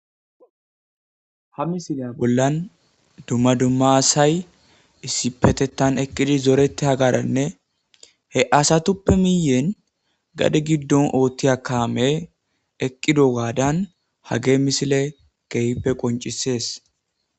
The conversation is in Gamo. Ha misilya bollan dumma dumma asay issipetetan eqqidi zorete hagaranne he asatuppe miyen gadi giddon oottiya kaame eqqido gaadan hage misile keehppe qoncisees.